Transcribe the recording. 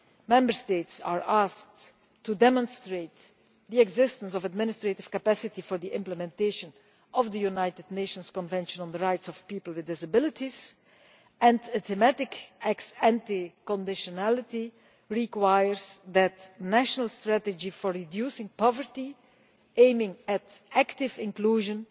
Member States are asked to demonstrate the existence of the administrative capacity for the implementation of the United Nations Convention on the Rights of Persons with Disabilities, and a thematic ex ante conditionality requires that national strategies for reducing poverty, aiming at active inclusion,